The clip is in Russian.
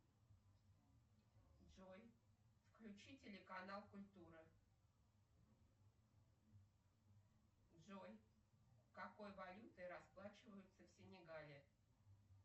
джой включи телеканал культура джой какой валютой расплачиваются в синегале